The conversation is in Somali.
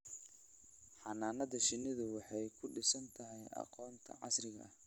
Xannaanada shinnidu waxay ku dhisan tahay aqoonta casriga ah.